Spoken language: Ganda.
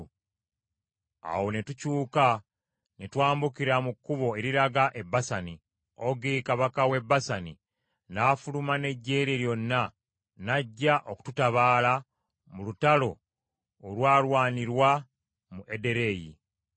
Awo ne tukyuka ne twambukira mu kkubo eriraga e Basani. Ogi, Kabaka w’e Basani, n’afuluma n’eggye lye lyonna n’ajja okututabaala mu lutalo olwalwanirwa mu Ederei.